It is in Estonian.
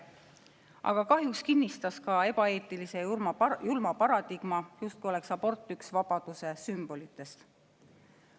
Aga kahjuks kinnistas ka ebaeetilise ja julma paradigma, justkui oleks abort üks vabaduse sümbolitest.